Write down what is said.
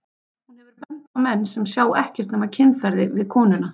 Hún hefur bent á menn sem sjá ekkert nema kynferði við konuna.